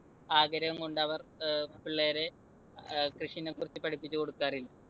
ആഗ്രഹം കൊണ്ടവർ അഹ് പിള്ളേരെ ഏർ കൃഷിനെക്കുറിച്ച് പഠിപ്പിച്ചു കൊടുക്കാറില്ല.